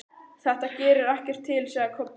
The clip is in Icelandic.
Þetta gerir ekkert til, sagði Kobbi.